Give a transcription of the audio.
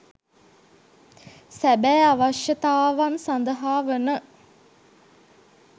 සැබෑ අවශ්‍යතාවන් සදහා වන